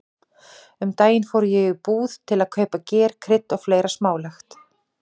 Um daginn fór ég í búð til að kaupa ger, krydd og fleira smálegt.